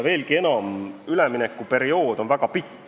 Veelgi enam, üleminekuperiood on väga pikk.